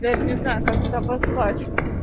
даже не знаю как это обозвать